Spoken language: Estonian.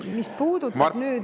Mis puudutab nüüd …